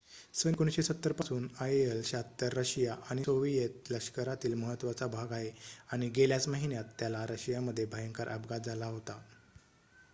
सन १९७० पासून आयएल-७६ रशिया आणि सोव्हिएत लष्करातील महत्त्वाचा भाग आहे आणि गेल्याच महिन्यात त्याला रशियामध्ये भयंकर अपघात झाला होता